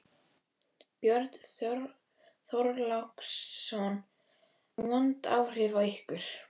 Björn Þorláksson: Vond áhrif á ykkur?